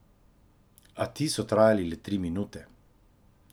A ti so trajali le tri minute.